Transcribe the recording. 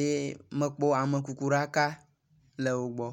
eye mekpɔ amekukuɖaka le wo gbɔ.